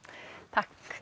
takk